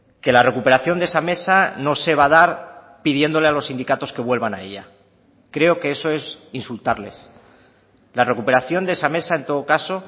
que la recuperación de esa mesa no se va a dar pidiéndole a los sindicatos que vuelvan a ella creo que eso es insultarles la recuperación de esa mesa en todo caso